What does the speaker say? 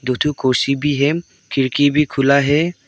दु ठो कुर्सी भी है खिड़की भी खुला है।